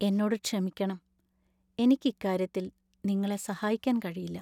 എന്നോട് ക്ഷമിക്കണം! എനിക്ക് ഇക്കാര്യത്തില്‍ നിങ്ങളെ സഹായിക്കാൻ കഴിയില്ല.